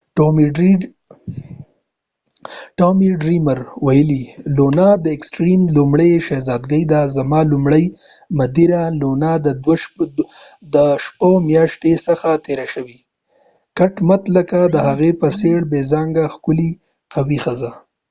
ټامي ډریمر tommy dreamer وویل لونا د ایکسټریم لومړۍ شهزادګۍ وه. زما لومړۍ مدیره، لونا د دوه شپو میاشتې څخه تېره شوه، کټ مټ لکه د هغې په څېر بې شانه ښکلي. قوي ښځه